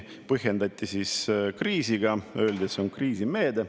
Seda põhjendati kriisiga, öeldi, et see on kriisimeede.